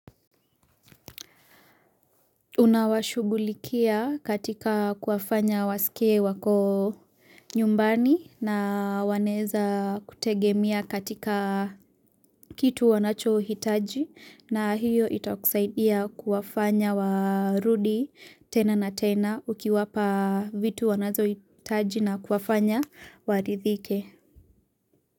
Unawashugulikia katika kuwafanya wasikie wako nyumbani na wanaeza kutegemea katika kitu wanacho hitaji na hiyo ita kusaidia kuwafanya warudi tena na tena ukiwapa vitu wanazo hitaji na kuwafanya waridhike.